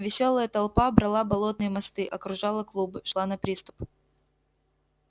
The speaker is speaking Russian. весёлая толпа брала болотные мосты окружала клубы шла на приступ